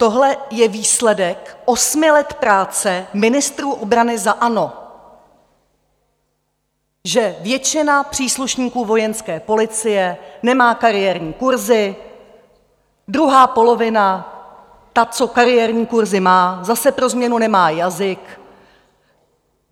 Tohle je výsledek osmi let práce ministrů obrany za ANO, že většina příslušníků Vojenské policie nemá kariérní kurzy, druhá polovina - ta, co kariérní kurzy má - zase pro změnu nemá jazyk!